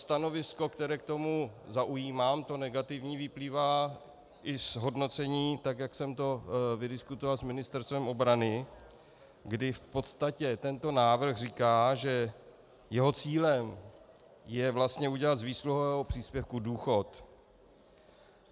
Stanovisko, které k tomu zaujímám, to negativní, vyplývá i z hodnocení, tak jak jsem to vydiskutoval s Ministerstvem obrany, kdy v podstatě tento návrh říká, že jeho cílem je vlastně udělat z výsluhového příspěvku důchod.